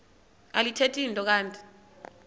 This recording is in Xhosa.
alithethi nto kanti